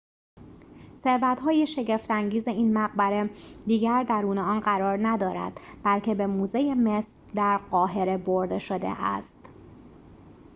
ثروت‌های شگفت انگیز این مقبره دیگر درون آن قرار ندارد بلکه به موزه مصر در قاهره برده شده است